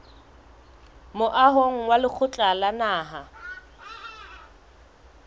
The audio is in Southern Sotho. moahong wa lekgotla la naha